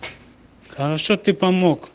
хорошо ты помог